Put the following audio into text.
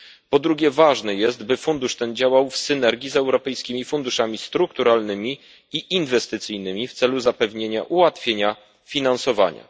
Po drugie, ważne jest, by fundusz ten działał w synergii z europejskimi funduszami strukturalnymi i inwestycyjnymi w celu zapewnienia ułatwienia finansowania.